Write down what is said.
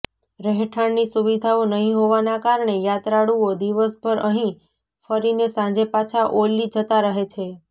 રહેઠાણની સુવિધાઓ નહીં હોવાના કારણે યાત્રાળુઓ દિવસભર અહીં ફરીને સાંજે પાછા ઔલી જતા રહે છે